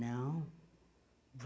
Não.